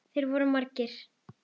Þeir voru margir.